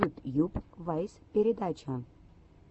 ютьюб вайс передача